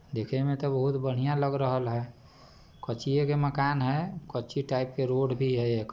देखे में तो बहुत बढ़िया लग रहल है कचिये के मकान है कच्ची टाइप के रोड भी है एक।